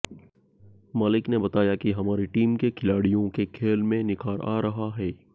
मलिक ने बताया कि हमारी टीम के खिलाड़ियों के खेल में निखार आ रहा है